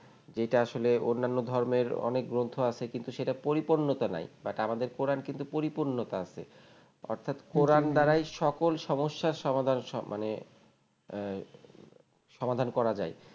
যেটা আসলে অন্নান্য ধর্মের অনেক গ্রন্থ আছে কিন্তু সেটা পরিপূর্ন্যতা নাই But আমাদের কোরান কিন্তু পরিপূর্ন্যতা আছে অর্থাৎ হম হম কোরান দ্বারাই সকল সমস্যার সমাধান সম মানে আহ সমাধান করা যায়